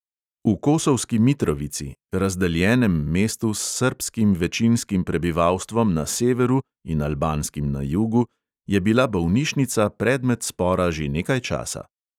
V kosovski mitrovici, razdeljenem mestu s srbskim večinskim prebivalstvom na severu in albanskim na jugu, je bila bolnišnica predmet spora že nekaj časa.